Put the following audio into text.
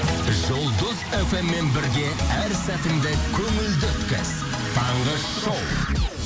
жұлдыз фммен бірге әр сәтіңді көңілді өткіз таңғы шоу